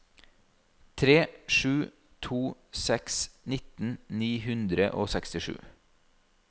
tre sju to seks nitten ni hundre og sekstisju